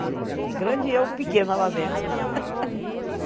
É grande e eu pequena lá dentro.